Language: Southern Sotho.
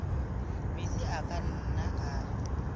metsi a ka nnang a